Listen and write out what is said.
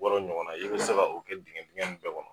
Bɔtɔ ɲɔgɔn i bɛ se ka o kɛ dingɛn dingɛn nunnu bɛɛ kɔnɔ.